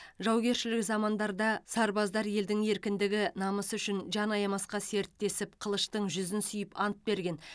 жаугершілік замандарда сарбаздар елдің еркіндігі намысы үшін жан аямасқа серттесіп қылыштың жүзін сүйіп ант берген